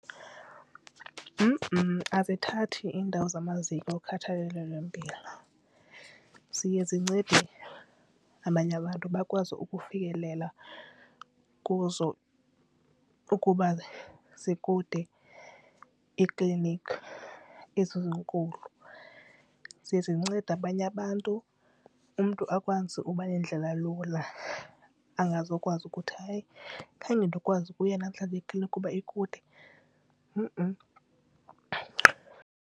Abathathi indawo zamaziko okhathalelo lwempilo, ziye zincede abanye abantu bakwazi ukufikelela kuzo ukuba zikude ekliniki ezi zinkulu. Ziye zincede abanye abantu umntu akwazi uba nendlela elula angazokwazi ukuthi hayi khange ndikwazi ukuya namhlanje ekliniki kuba ikude.